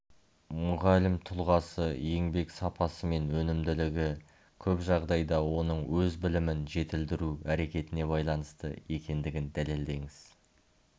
мұғалім тұлғасы еңбек сапасы мен өнімділігі көп жағдайда оның өз білімін жетілдіру әрекетіне байланысты екендігін дәлелдеңіз